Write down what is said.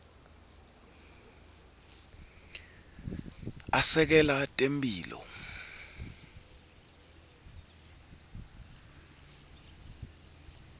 asekela temphilo